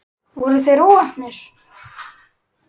Voru þeir óheppnir?